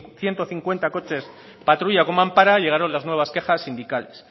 ciento cincuenta coches patrulla con mampara llegaron las nuevas quejas sindicales